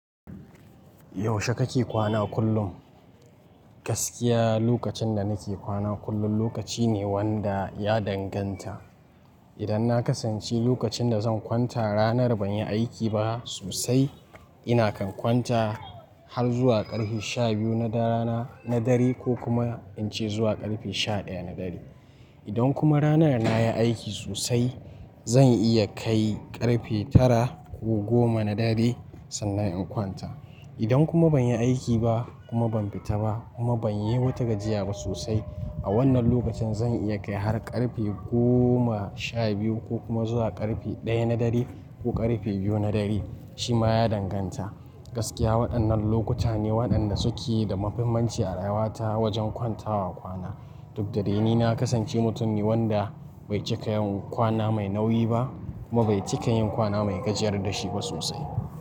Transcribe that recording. Yaushe kake kwana kullum? Gaskiya lokacin da nake kwana kullum lokaci ne wanda ya danganta. Idan na kasance lokacin da zan kwanta ranar ban yi aiki ba sosai, ina kan kwanta har zuwa ƙarfe sha biyu na rana na dare ko kuma in ce zuwa ƙarfe sha ɗaya na dare. Idan kuma ranar na yi aiki sosai, zan iya kai ƙarfe tara ko goma na dare sannan in kwanta. Idan kuma ban yi aiki ba kuma ban fita ba kuma ban yi wata gajiya ba sosai, a wannan lokacin zan iya kai har ƙarfe goma sha biyu ko kuma zuwa ƙarfe ɗaya na dare ko ƙarfe biyu na dare shima ya danganta. Gaskiya waɗannan lokuta ne waɗanda suke da mafimanci a rayuwata wajen kwantawa kwana. Duk da dai ni na kasance mutum ne wanda bai cika yin kwana mai nauyi ba kuma bai cika yin kwana mai gajiyar da shi ba sosai.